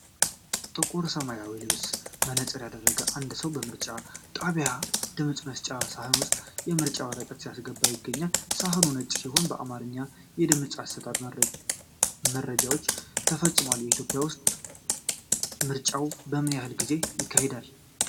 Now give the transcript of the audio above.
ጥቁር ሰማያዊ ልብስና መነፅር ያደረገ አንድ ሰው በምርጫ ጣቢያ ድምፅ መስጫ ሣጥን ውስጥ የምርጫ ወረቀት ሲያስገባ ይታያል። ሣጥኑ ነጭ ሲሆን፣ በአማርኛ የድምፅ አሰጣጥ መረጃዎች ተጽፈዋል። በኢትዮጵያ ውስጥ ምርጫዎች በምን ያህል ጊዜ ይካሄዳሉ?